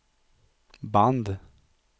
band